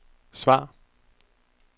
svar